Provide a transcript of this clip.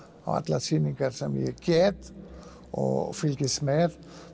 á allar sýningar sem ég get og fylgist með